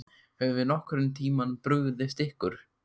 Höfum við nokkurn tímann brugðist ykkur?